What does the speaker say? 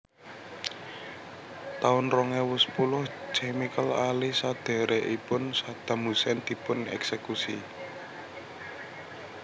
taun rong ewu sepuluh Chemical Ali sedhèrèkipun Saddam Hussein dipun èksèkusi